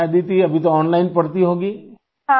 اچھا آدیتی ، ابھی تو آن لائن پڑھتی ہوں گے